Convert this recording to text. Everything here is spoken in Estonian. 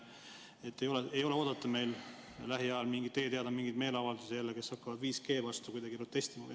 Kas teie teada ei ole meil lähiajal oodata jälle mingeid meeleavaldusi, kus hakatakse 5G vastu protestima?